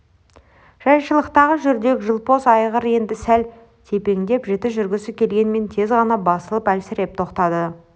жайшылықтағы жүрдек-жылпос айғыр енді сәл тепеңдеп жіті жүргісі келгенмен тез ғана басылып әлсіреп тоқтады